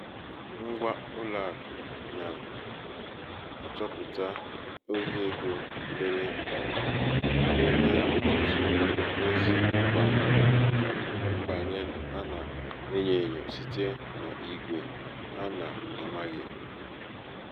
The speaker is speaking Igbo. ṅgwa ụlọàkụ̀ na-achọpụ̀ta ohi ego mèrè kà e nwee ọtụtụ ozi mgbaàmà màkà mbànye a nà-ènyō ènyò site n’igwè a nā-amāghị̀